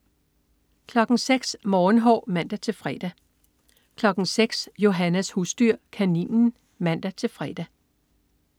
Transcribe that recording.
06.00 Morgenhår (man-fre) 06.00 Johannas husdyr. Kaninen (man-fre)